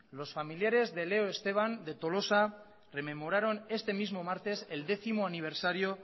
los familiares de leo esteban de tolosa rememoraron este mismo martes el décimo aniversario